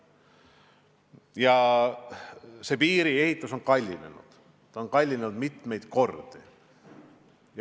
Jah, selle piiri ehitus on kallinenud – on kallinenud mitmeid kordi.